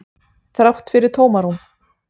Þrátt fyrir tómarúm.